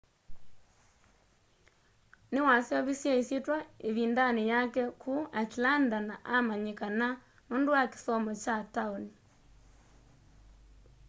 niwaseuvisye isyitwa ivindani yake ku atlanta na amanyikana nundu wa kisomo kya taoni